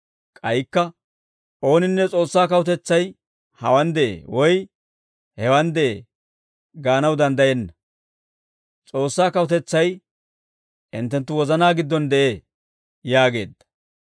K'aykka, «Ooninne, ‹S'oossaa Kawutetsay hawaan de'ee›, woy ‹Hewaan de'ee› gaanaw danddayenna; S'oossaa Kawutetsay hinttenttu wozanaa giddon de'ee» yaageedda.